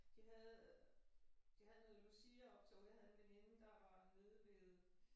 De havde de havde noget luciaoptog jeg havde en veninde der var nede ved